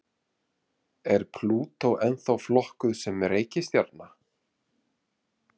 Er Plútó ennþá flokkuð sem reikistjarna?